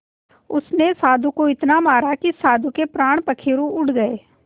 उसने साधु को इतना मारा कि साधु के प्राण पखेरु उड़ गए